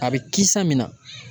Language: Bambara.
A bɛ kisa min na.